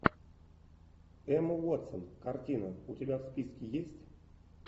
эмма уотсон картина у тебя в списке есть